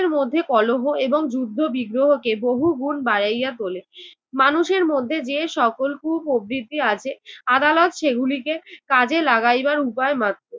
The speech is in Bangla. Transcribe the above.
নিজের মধ্যে কলহ এবং যুদ্ধবিগ্রহকে বহুগুণ বাড়াইয়া তোলে। মানুষের মধ্যে যে সকল কুপ্রবৃত্তি আছে আদালত সেগুলিকে কাজে লাগাইবার উপায় মাত্র।